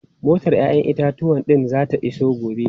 Motar 'ya'yan itatuwan din zata iso gobe.